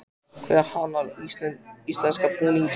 Hver hannar íslenska búninginn?